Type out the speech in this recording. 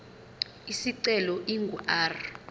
isicelo ingu r